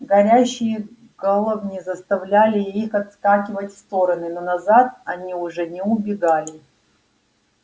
горящие головни заставляли их отскакивать в стороны но назад они уже не убегали